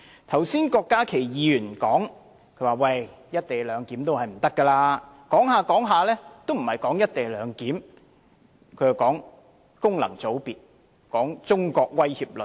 剛才郭家麒議員說"一地兩檢"不可行，但他所說的根本不是"一地兩檢"，而是功能界別和中國威脅論。